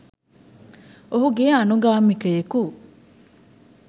ඔහුගේ අනුගාමිකයකු